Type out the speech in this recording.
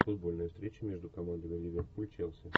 футбольная встреча между командами ливерпуль челси